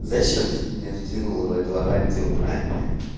зачем ты меня втянула в эту авантюру а